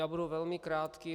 Já budu velmi krátký.